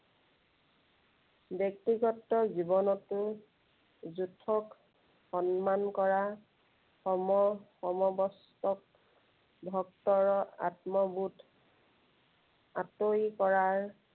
ব্য়ক্তিগত জীৱনটো জ্য়েষ্ঠক সন্মান কৰা, সম কম কষ্টক, ভক্তৰ আত্মবোধ আঁতৰি কৰাৰ